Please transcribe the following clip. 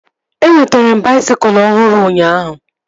Enwetere m baisikụl ọhụrụ ụnyaahụ